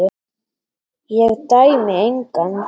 Ég dæmi engan.